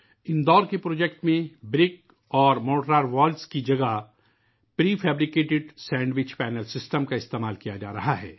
اِندور کے پروجیکٹ میں ، بِرک اور مورٹار وال کی جگہ prefabricated sandwich panel system استعمال کیا جارہا ہے